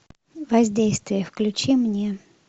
воздействие включи мне